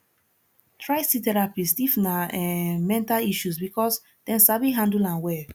try see therapist if na um mental issues because dem sabi handle am well